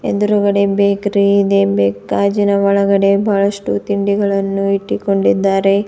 ಎದುರುಗಡೆ ಬೇಕರಿ ಇದೆ ಬೇಕ್ ಗಾಜಿನ ಒಳಗಡೆ ಬಹಳಷ್ಟು ತಿಂಡಿ ಗಳನ್ನು ಇಟ್ಟಿಕೊಂಡಿದ್ದಾರೆ.